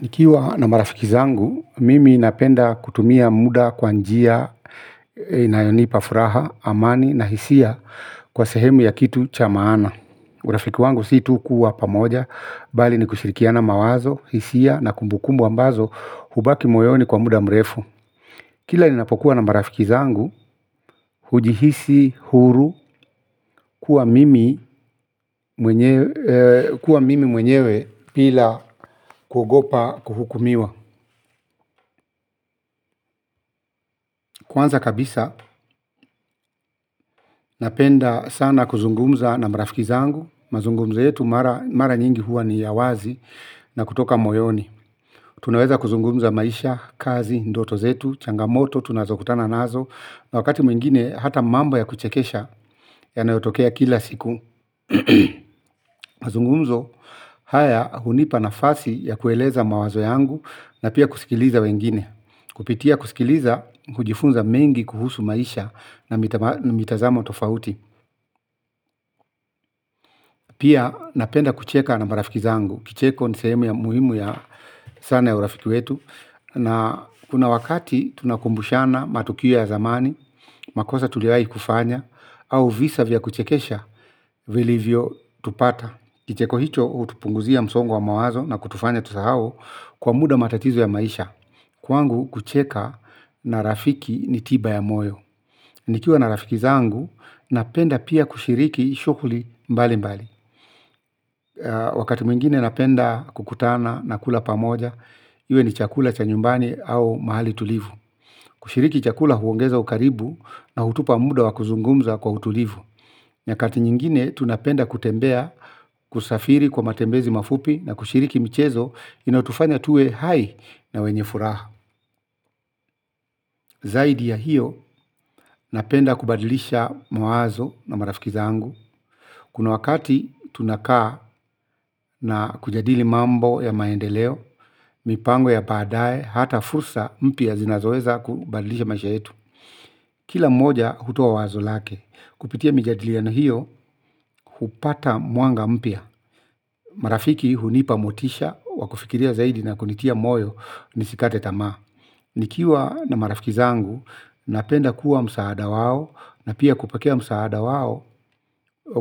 Nikiwa na marafiki zangu, mimi napenda kutumia muda kwa njia, inayonipa furaha, amani na hisia kwa sehemu ya kitu cha maana. Urafiki wangu si tu kuwa pamoja, bali ni kushirikiana mawazo, hisia na kumbukumbu ambazo, hubaki moyoni kwa muda mrefu. Kila ninapokuwa na marafiki zangu, huji hisi huru kuwa mimi mwenyewe bila kuogopa kuhukumiwa. Kwanza kabisa napenda sana kuzungumza na marafiki zangu. Mazungumzo yetu mara nyingi huwa ni ya wazi na kutoka moyoni. Tunaweza kuzungumza maisha, kazi, ndoto zetu, changamoto, tunazokutana nazo na wakati mwingine hata mambo ya kuchekesha yanayotokea kila siku. Mazungumzo haya hunipa nafasi ya kueleza mawazo yangu na pia kusikiliza wengine. Kupitia kusikiliza, kujifunza mengi kuhusu maisha na mitazamo tofauti. Pia napenda kucheka na marafiki zangu. Kicheko ni sehemu ya muhimu ya sana ya urafiki wetu. Na kuna wakati tunakumbushana matukio ya zamani. Makosa tuliwai kufanya au visa vya kuchekesha vilivyo tupata kicheko hicho hutupunguzia msongo wa mawazo na kutufanya tusahao. Kwa muda matatizo ya maisha. Kwangu kucheka na rafiki ni tiba ya moyo. Nikiwa na rafiki zangu, napenda pia kushiriki shughuli mbali mbali. Wakati mwingine napenda kukutana na kula pamoja, iwe ni chakula cha nyumbani au mahali tulivu. Kushiriki chakula huongeza ukaribu na hutupa muda wa kuzungumza kwa utulivu. Nyakati nyingine, tunapenda kutembea, kusafiri kwa matembezi mafupi na kushiriki michezo, inayotufanya tuwe hai na wenye furaha. Zaidi ya hiyo, napenda kubadilisha mwazo na marafikiza angu. Kuna wakati tunakaa na kujadili mambo ya maendeleo, mipango ya baada ye, hata fursa mpya zinazoweza kubadilisha maisha yetu. Kila mmoja hutoaa wazo lake, kupitia mijadiliano hiyo, hupata mwanga mpya. Marafiki hunipa motisha, wakufikiria zaidi na kunitia moyo, nisikate tamaa. Nikiwa na marafiki zangu napenda kuwa msaada wao na pia kupokea msaada wao.